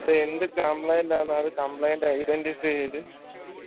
അപ്പൊ എന്ത് complaint ആണ് അത് complaint identify ചെയ്ത്